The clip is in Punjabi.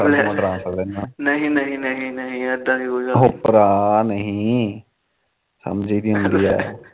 ਨਹੀ ਨਹੀ ਨਹੀ ਇਦਾ ਦੀ ਕੋਈ ਗੱਲ ਨੀ ਹੋ ਭਰਾ ਨਹੀਂ ਸਮਝੀ ਦੀ ਹੁੰਦੀ